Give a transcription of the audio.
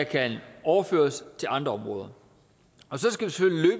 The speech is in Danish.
kan overføres til andre områder og så skal